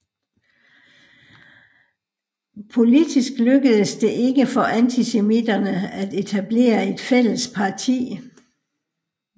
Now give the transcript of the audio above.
Politisk lykkedes det ikke for antisemitterne at etablere et fælles parti